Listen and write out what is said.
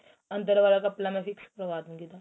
ਅੰਦਰ ਵਾਲਾ ਕਪੜਾ ਮੈਂ fix ਕਰਵਾ ਦੁਗੀ ਤੁਹਾਨੂੰ